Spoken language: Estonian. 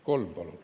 Kolm minutit palun.